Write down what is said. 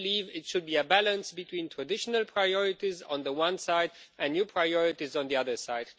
It should be a balance between traditional priorities on the one side and new priorities on the other side.